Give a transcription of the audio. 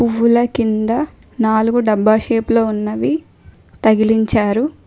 పులకింద నాలుగు డబ్బా షేప్ లో ఉన్నవి తగిలించారు.